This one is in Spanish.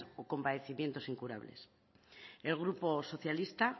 o con padecimiento incurables el grupo socialista